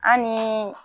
An ni